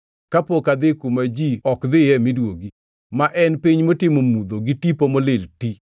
kapok adhi kuma ji ok dhiye miduogi, ma en piny motimo mudho gi tipo molil ti,